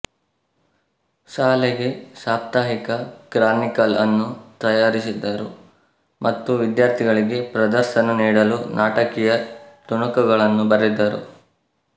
ಶಾಲೆಗೆ ಸಾಪ್ತಾಹಿಕ ಕ್ರಾನಿಕಲ್ಅನ್ನು ತಯಾರಿಸಿದರು ಮತ್ತು ವಿದ್ಯಾರ್ಥಿಗಳಿಗೆ ಪ್ರದರ್ಶನ ನೀಡಲು ನಾಟಕೀಯ ತುಣುಕುಗಳನ್ನು ಬರೆದರು